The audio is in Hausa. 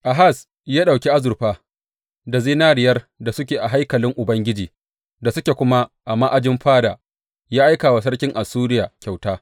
Ahaz ya ɗauki azurfa da zinariyar da suke a haikalin Ubangiji da suke kuma a ma’ajin fada ya aika wa sarkin Assuriya kyauta.